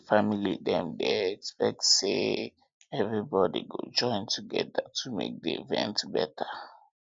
di family dem expect say expect say everybody go join together to make di event better